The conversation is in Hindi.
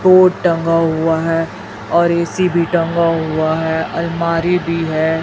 बोर्ड टंगा हुआ है और ए_सी भी टंगा हुआ है अलमारी भी है।